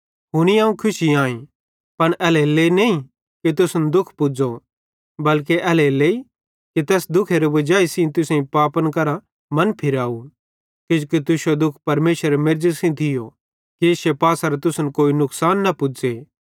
हुनी अवं खुशी आईं पन एल्हेरेलेइ नईं कि तुसन दुःख पुज़ो बल्के एल्हेरेलेइ कि तैस्से दुखेरे वजाई तुसेईं पापन करां मन फिराव किजोकि तुश्शो दुःख परमेशरेरे मेर्ज़ी सेइं थियो कि इश्शे पासेरां तुसन कोई नुकसान न पुज़े